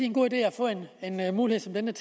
en god idé at få en mulighed som denne